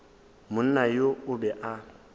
monna yoo o be a